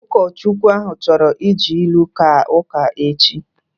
Ụkọchukwu ahu chọrọ iji ilu kaa ụka echi